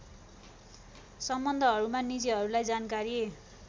सम्बन्धमा निजहरूलाई जानकारी